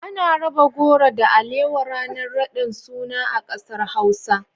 Ana raba goro da alewa ranar raɗin suna a ƙasar Hausa.